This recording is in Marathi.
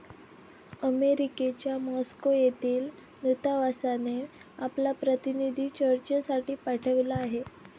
अमेरिकेच्या मॉस्को येथील दूतावासाने आपला प्रतिनिधी चर्चेसाठी पाठविला आहे.